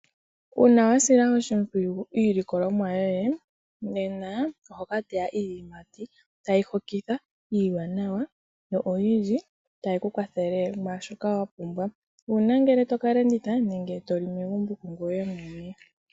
Uuna wasila oshimpwiyu iilikolomwa yoye nena ohokataya iiyimati tayi hokitha iiwanawa yo oyindji tayikukwathele mwaashoka wapumbwa uuna ngele tokalanditha nenge toli megumbo kungweye mwene.